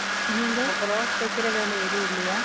நீங்க? அப்புறம், தைக்கிற வேலை, எதுவும் இல்லையா?